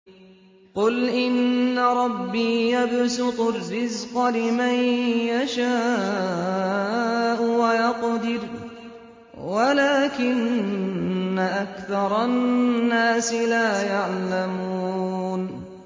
قُلْ إِنَّ رَبِّي يَبْسُطُ الرِّزْقَ لِمَن يَشَاءُ وَيَقْدِرُ وَلَٰكِنَّ أَكْثَرَ النَّاسِ لَا يَعْلَمُونَ